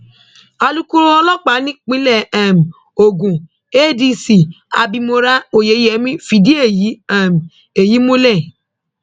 alūkóró ọlọpàá nípínlẹ ogun adc abimora oyeyemí fìdí èyí um èyí um múlẹ̀